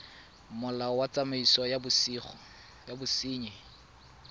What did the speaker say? molao wa tsamaiso ya bosenyi